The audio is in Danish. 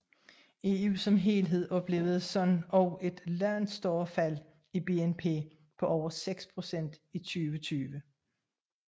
EU som helhed oplevede således et langt større fald i BNP på over 6 procent i 2020